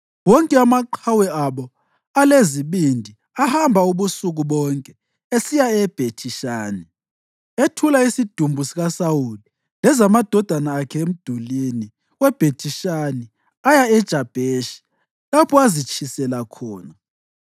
wonke amaqhawe abo alezibindi ahamba ubusuku bonke esiya eBhethi-Shani. Ethula isidumbu sikaSawuli lezamadodana akhe emdulini weBhethi-Shani aya eJabheshi, lapho azitshisela khona.